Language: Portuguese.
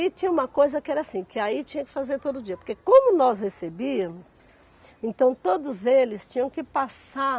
E tinha uma coisa que era assim, que aí tinha que fazer todo dia, porque como nós recebíamos, então todos eles tinham que passar